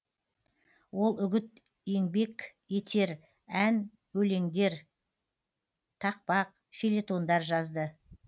ол үгіт еңбек етер ән өлеңдер тақпақ фельетондар жазды